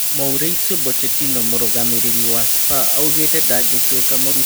Mũrĩ cĩ ũ Bocetino mũrũgamĩ rĩ ri wa Spa augĩ te ndangĩ tuĩ ka mũrutani wa Bacerona.